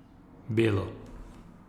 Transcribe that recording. Belo.